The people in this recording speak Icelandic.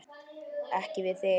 Ekki við þig.